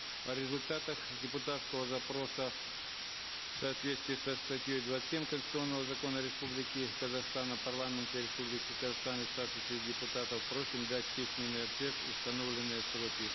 о результатах депутатского запроса в соответствии со статьей двадцать семь конституционного закона республики казахстан о парламенте республики казахстан и статусе депутатов просим дать письменный ответ в установленные сроки